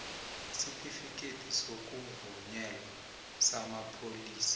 isitifikhethi sokuvunyelwa samapholisa